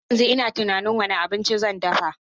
Har yanzu ina tunanin wane abinci zan dafa.